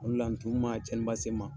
Ole a ntumu ma cɛninba se n ma.